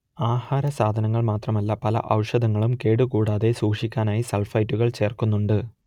ആഹാരസാധനങ്ങൾ മാത്രമല്ല പല ഔഷധങ്ങളും കേടുകൂടാതെ സൂക്ഷിക്കാനായി സൾഫൈറ്റുകൾ ചേർക്കുന്നുണ്ട്